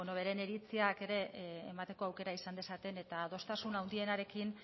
beren iritziak ere emateko aukera izan dezaten eta adostasun handienarekin